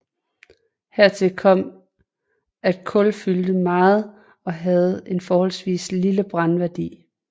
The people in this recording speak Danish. Hertil kom at kul fyldte meget og havde en forholdsvis lille brændværdi